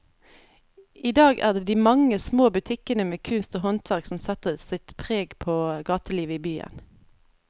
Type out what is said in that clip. I dag er det de mange små butikkene med kunst og håndverk som setter sitt preg på gatelivet i byen.